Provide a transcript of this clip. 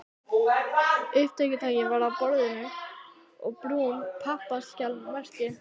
Upptökutæki var á borðinu og brún pappaaskja merkt